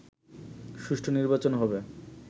সুষ্ঠু নির্বাচন হবে